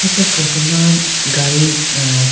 acha photo ma gadi ah.